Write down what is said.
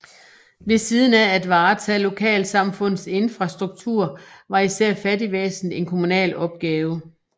Ved siden af at varetage lokalsamfundets infrastruktur var især fattigvæsenet en kommunal opgave